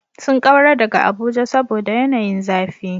Sun kaura daga Abuja saboda yanayin zafi.